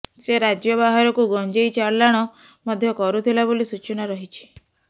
ସେ ରାଜ୍ୟ ବାହାରକୁ ଗଞ୍ଜେଇ ଚାଲାଣ ମଧ୍ୟ କରୁଥିଲା ବୋଲି ସୂଚନା ରହିଛି